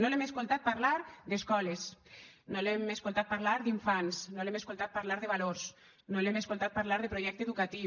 no l’hem escoltat parlar d’escoles no l’hem escoltat parlar d’infants no l’hem escoltat parlar de valors no l’hem escoltat parlar de projecte educatiu